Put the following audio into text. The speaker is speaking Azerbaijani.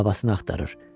Babasını axtarır.